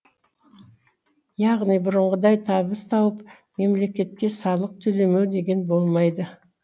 яғни бұрынғыдай табыс тауып мемлекетке салық төлемеу деген болмайды